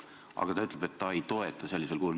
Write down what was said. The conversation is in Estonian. Aga nüüd ta ütleb, et ta ei toeta sellisel kujul.